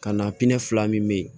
Ka na fila min bɛ ye